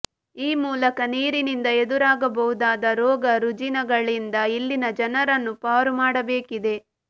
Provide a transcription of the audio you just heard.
ಈ ಮೂಲಕ ನೀರಿನಿಂದ ಎದುರಾಗಬಹುದಾದ ರೋಗ ರುಜಿನಗಳಿಂದ ಇಲ್ಲಿನಜನರನ್ನು ಪಾರು ಮಾಡಬೇಕಿದೆ